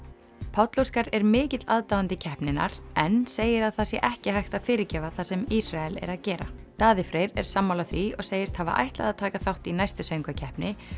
Páll Óskar er mikill aðdáandi keppninnar en segir að það sé ekki hægt að fyrirgefa það sem Ísrael er að gera Daði Freyr er sammála því og segist hafa ætlað að taka þátt í næstu Söngvakeppni